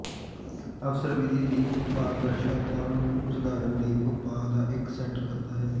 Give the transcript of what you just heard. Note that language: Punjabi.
ਅਫਸਰ ਵਿਧੀ ਦੀ ਪਾਰਦਰਸ਼ਤਾ ਨੂੰ ਸੁਧਾਰਨ ਲਈ ਉਪਾਅ ਦਾ ਇੱਕ ਸੈੱਟ ਕਰਦਾ ਹੈ